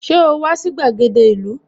Ṣé o wà sí gbàgede ìlú?